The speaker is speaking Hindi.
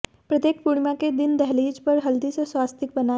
प्रत्येक पूर्णिमा के दिन दहलीज पर हल्दी से स्वास्तिक बनाएं